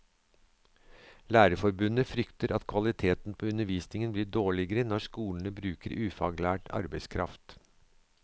Lærerforbundet frykter at kvaliteten på undervisningen blir dårligere når skolene bruker ufaglært arbeidskraft.